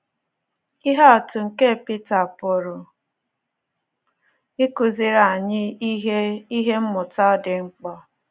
Ihe atụ nke Pita pụrụ ịkụziri anyị ihe ihe mmụta dị mkpa.